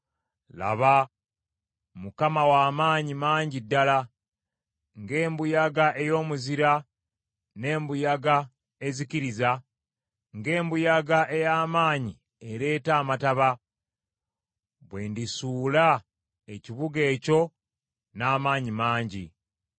Laba, Mukama wa maanyi mangi ddala, ng’embuyaga ey’omuzira n’embuyaga ezikiriza, ng’enkuba ey’amaanyi ereeta amataba, bwe ndisuula ekibuga ekyo n’amaanyi mangi.